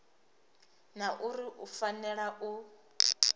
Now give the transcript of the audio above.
na uri u fanela u